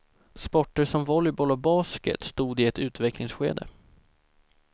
Sporter som volleyboll och basket stod i ett utvecklingsskede.